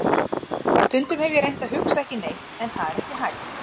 Stundum hef ég reynt að hugsa ekki neitt en það er ekki hægt.